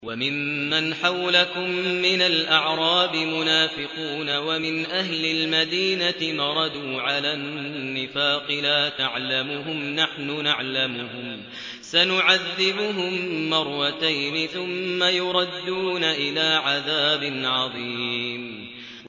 وَمِمَّنْ حَوْلَكُم مِّنَ الْأَعْرَابِ مُنَافِقُونَ ۖ وَمِنْ أَهْلِ الْمَدِينَةِ ۖ مَرَدُوا عَلَى النِّفَاقِ لَا تَعْلَمُهُمْ ۖ نَحْنُ نَعْلَمُهُمْ ۚ سَنُعَذِّبُهُم مَّرَّتَيْنِ ثُمَّ يُرَدُّونَ إِلَىٰ عَذَابٍ عَظِيمٍ